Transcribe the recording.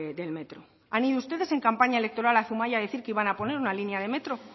del metro han ido ustedes en campaña electoral a zumaia a decir que iban a poner una línea de metro